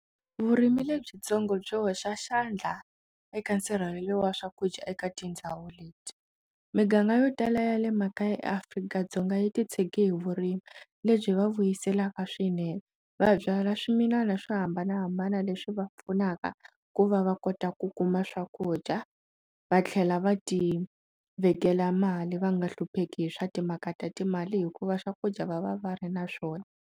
Vurimi lebyitsongo byi hoxa xandla eka nsirhelelo wa swakudya eka tindhawu leti, miganga yo tala ya le makaya ya eAfrika-Dzonga yi titshege hi vurimi lebyi va vuyiselaku swinene va byala swimilana swo hambanahambana leswi va pfunaka ku va va kota ku kuma swakudya va tlhela va ti vekela mali va nga hlupheki hi swa timhaka ta timali hikuva swakudya va va va ri na swona.